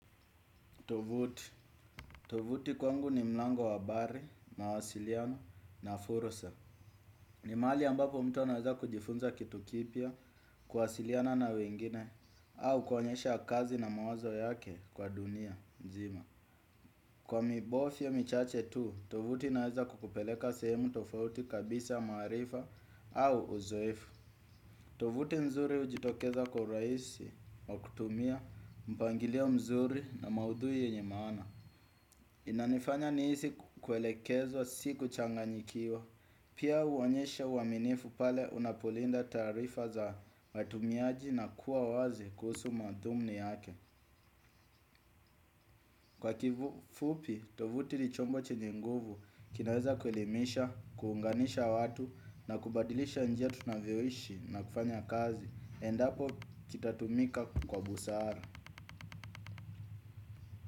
Tovuti. Tovuti kwangu ni mlango wa habari, mawasiliano na fursa. Ni mahali ambapo mtu anaweza kujifunza kitu kipya, kuwasiliana na wengine, au kuonyesha kazi na mawazo yake kwa dunia, nzima. Kwa mibofya michache tu, tovuti inaweza kukupeleka sehemu tofauti kabisa maarifa au uzoefu. Tovuti nzuri ujitokeza kwa urahisi, kwa kutumia, mpangilio mzuri na maudhui yenye maana. Inanifanya nihisi kuelekezwa sikuchanganyikiwa. Pia huonyesha uaminifu pale unapolinda taarifa za matumiaji na kuwa wazi kuhusu madhumni yake. Kwa kifupi, tovuti ni chombo chenye nguvu kinaweza kuelimisha, kuunganisha watu na kubadilisha njia tunavyoishi na kufanya kazi. Endapo kitatumika kwa busara.